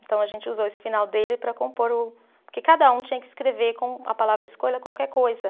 Então, a gente usou esse final dele para compor o. Porque cada um tinha que escrever com a palavra escolha qualquer coisa.